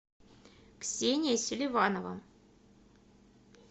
ксения селиванова